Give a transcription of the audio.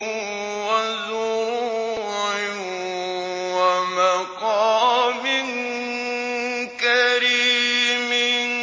وَزُرُوعٍ وَمَقَامٍ كَرِيمٍ